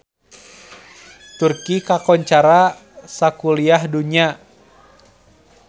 Turki kakoncara sakuliah dunya